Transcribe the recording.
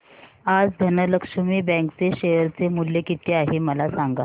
आज धनलक्ष्मी बँक चे शेअर चे मूल्य किती आहे मला सांगा